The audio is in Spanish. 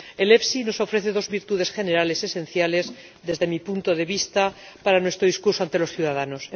El FEIE nos ofrece dos virtudes generales esenciales, desde mi punto de vista, para nuestro discurso ante los ciudadanos.